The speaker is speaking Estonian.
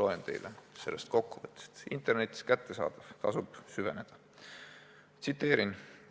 Loen teile sellest kokkuvõttest – see on internetist kättesaadav, tasub süveneda – ühe tsitaadi: